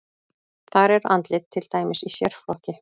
Þar eru andlit til dæmis í sérflokki.